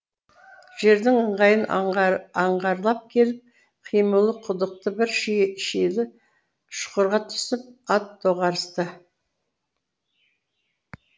жердің ыңғайын аңғарлап келіп қималы құдықты бір шилі шұқырға түсіп ат доғарысты